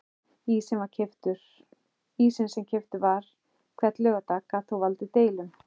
Ísinn sem keyptur var hvern laugardag gat þó valdið deilum.